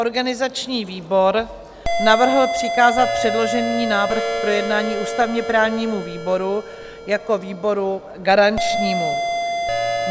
Organizační výbor navrhl přikázat předložený návrh k projednání ústavně-právnímu výboru jako výboru garančnímu.